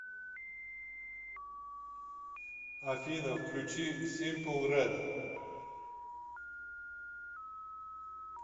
афина включи симпл рэд